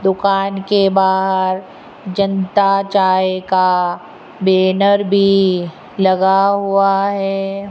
दुकान के बाहर जनता चाय का बैनर भी लगा हुआ है।